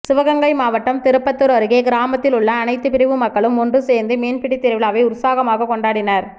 சிவகங்கை மாவட்டம் திருப்பத்தூர் அருகே கிராமத்தில் உள்ள அனைத்துப் பிரிவு மக்களும் ஒன்று சேர்ந்து மீன்பிடித் திருவிழாவை உற்சாகமாக கொண்டாடினர்